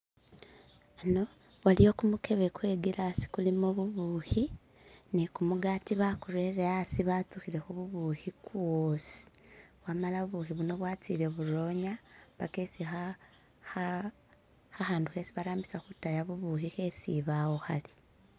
Waliwo gumukhebe gwe gilasi gulimo bubukhi ni gumugati bagurele hasi batsukhilekho bubukhi gwosi wamala bubukhi buno bwatsile buronya paka esi khakhandu khesi barambisa khudaya bubukhi kheshibawo khali